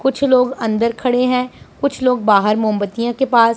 कुछ लोग अंदर खड़े हैं कुछ लोग बाहर मोमबत्तियां के पास--